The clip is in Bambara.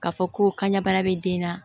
K'a fɔ ko kana bana bɛ den na